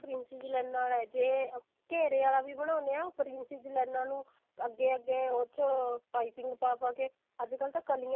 ਜਿਹੜਾ princess ਲਾਈਨਾ ਆਲਾ ਜੇ ਘੇਰੇ ਆਲਾ ਵੀ ਬਣਾਉਣੇ ਹਾਂ princess ਲਾਈਨਾ ਨੂੰ ਅੱਗੇ ਅੱਗੇ ਉਸ ਵਿੱਚ ਪਾਈਪਿੰਨ ਪਾ ਪਾ ਕੇ ਅੱਜ ਕਲ ਤਾਂ ਕਲੀਆਂ